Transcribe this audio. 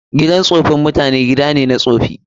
Gidan tsofin mutane gida ne na tsofi.